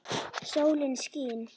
Sólin skín.